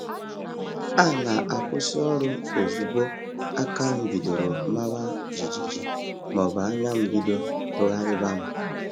A na-akwụsị ọrụ ozugbo aka m bidoro mawa jijiji ma ọ bụ anya m bido tụgharịba m